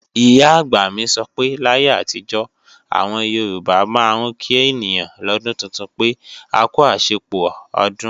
Ìyá-àgbà mi sọ pé láyé àtijó, àwọn Yorùbá máa ń kí ènìyàn lọ́dún tuntun pé, "akú àṣepọ̀ ọdún o"